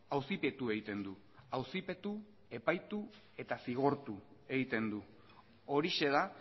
auzipetu egiten du auzipetu epaitu eta zigortu egiten du horixe da